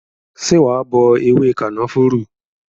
Ṣé wa bọ ewé kànáfùrú?